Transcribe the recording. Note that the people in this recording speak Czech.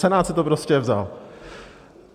Senát si to prostě vzal.